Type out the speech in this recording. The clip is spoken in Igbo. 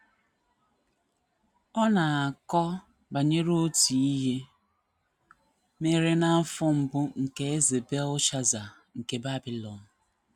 Ọ na - akọ banyere otu ihe mere n’afọ mbụ nke Eze Belshaza nke Babilọn.